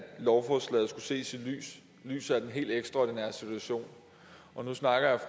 lovforslaget skulle ses i lyset af den helt ekstraordinære situation og nu snakker